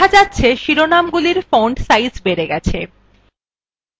দেখা যাচ্ছে শিরোনামগুলির font সাইজ বেড়ে গেছে